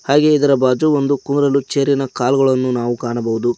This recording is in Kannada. ಹಾಗೆ ಇದರ ಬಾಜು ಒಂದು ಕೂರಲು ಚೇರಿನ ಕಾಲ್ಗಳನ್ನು ನಾವು ಕಾಣಬಹುದು.